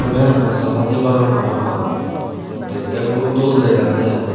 iben ekkan saa padi bagan parapang dekte hub dol dega jar.